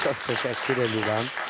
Çox təşəkkür eləyirəm.